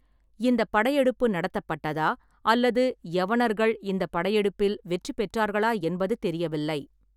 இந்தப் படையெடுப்பு நடத்தப்பட்டதா அல்லது யவனர்கள் இந்தப் படையெடுப்பில் வெற்றி பெற்றார்களா என்பது தெரியவில்லை.